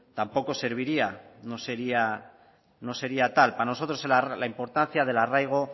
tampoco serviría no sería tal para nosotros la importancia del arraigo